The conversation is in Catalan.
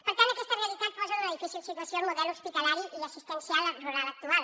per tant aquesta realitat posa en una difícil situació el model hospitalari i assistencial rural actual